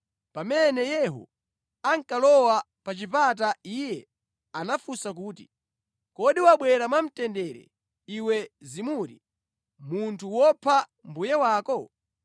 Pamene Yehu ankalowa pa chipata iye anafunsa kuti, “Kodi wabwera mwamtendere, iwe Zimuri, munthu wopha mbuye wako?”